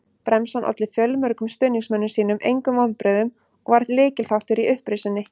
Bremsan olli fjölmörgum stuðningsmönnum sínum engum vonbrigðum og var lykilþáttur í upprisunni.